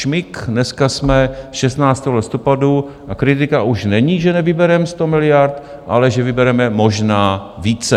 Šmik, dneska je 16. listopadu a kritika už není, že nevybereme 100 miliard, ale že vybereme možná více.